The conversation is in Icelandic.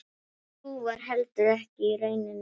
Sú varð heldur ekki raunin.